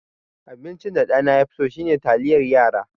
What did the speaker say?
Abincin da ɗana ya fi so shine taliyar yara.